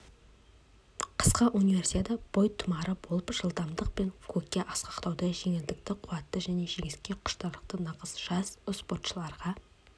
қысқы универсиада бойтұмары болып жылдамдық пен көкке асқақтауды жеңілдікті қуатты және жеңіске құштарлықты нағыз жас спортшыларға